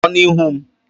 Pụọ n'ihu m!